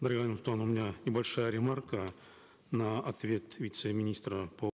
дарига нурсултановна у меня небольшая ремарка на ответ вице министра по